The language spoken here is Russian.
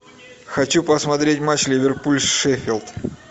хочу посмотреть матч ливерпуль с шеффилд